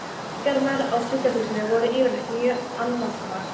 Helgarnar á sjúkrahúsinu voru yfirleitt mjög annasamar.